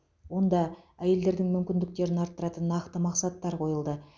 онда әйелдердің мүмкіндіктерін арттыратын нақты мақсаттар қойылды